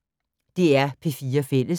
DR P4 Fælles